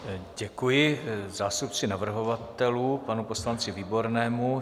Děkuji zástupci navrhovatelů, panu poslanci Výbornému.